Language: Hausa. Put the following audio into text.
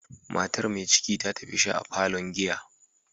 Matar mai ciki ta tafi sha a parlourn giya.